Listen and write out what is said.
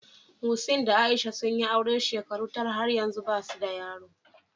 Muhseen da Aisha sun yi aure shekaru tara, har yanzu ba su da yaro.